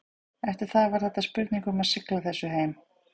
Eftir það var þetta spurning um að sigla þessu heim.